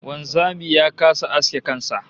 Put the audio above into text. Wanzami ya kasa aske kan sa